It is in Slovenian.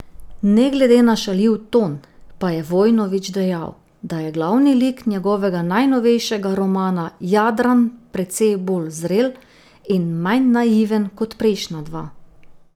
Ne glede na šaljiv ton, pa je Vojnović dejal, da je glavni lik njegovega najnovejšega romana Jadran precej bolj zrel in manj naiven kot prejšnja dva.